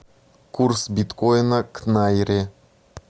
курс биткоина к найре